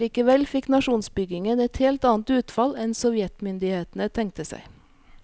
Likevel fikk nasjonsbyggingen et helt annet utfall enn sovjetmyndighetene tenkte seg.